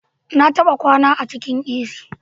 Na taba kwana a cikin A.c